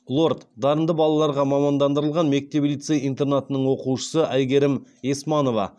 лорд дарынды балаларға мамандандырылған мектеп лицей интернатының оқушысы әйгерім есманова